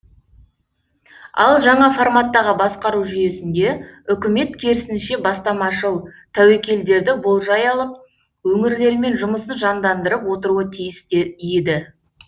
ал жаңа форматтағы басқару жүйесінде үкімет керісінше бастамашыл тәуекелдерді болжай алып өңірлермен жұмысын жандандырып отыруы тиіс еді